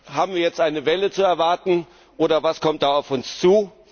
Haben wir jetzt eine Welle zu erwarten, oder was kommt da auf uns zu?